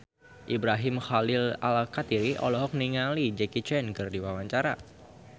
Ibrahim Khalil Alkatiri olohok ningali Jackie Chan keur diwawancara